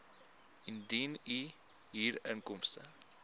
indien u huurinkomste